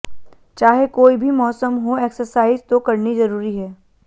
चाहे कोई भी मौसम हो एक्सरसाइज तो करनी जरूरी है